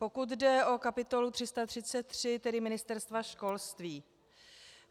Pokud jde o kapitulo 333, tedy Ministerstva školství.